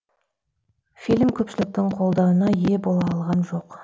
фильм көпшіліктің қолдауына ие бола алған жоқ